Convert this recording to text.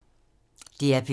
DR P3